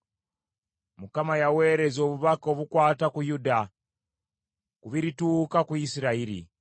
Mukama yaweereza obubaka obukwata ku Yakobo, ku birituuka ku Isirayiri.